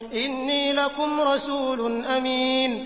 إِنِّي لَكُمْ رَسُولٌ أَمِينٌ